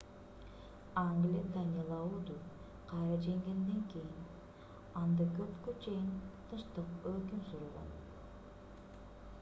англия данелауду кайра жеңгенден кийин анда көпкө чейин тынчтык өкүм сүргөн